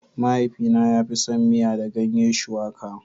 Mahaifina ya fi son miya da ganye shuwaƙa